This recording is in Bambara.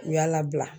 U y'a labila